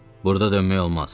Burda dönmək olmaz.